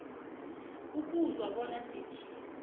ukuzwa bona sithini